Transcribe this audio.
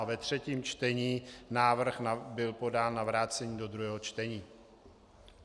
A ve třetím čtení návrh byl podán na vrácení do druhého čtení.